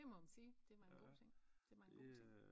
Det må man sige det var en god ting det var en god ting